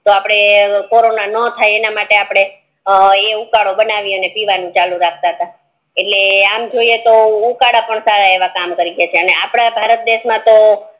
તો આપડે કોરોના નો થાય ઈ માટે આપડ ઈ ઉકારો બને ને ઈ પીવાનું ચાલુ રાખતા તા આમ જોઈ તો ઉકાર પણ સારા એવા કામ કરી ગ્યા અને આપડાં ભારત દેશ માતો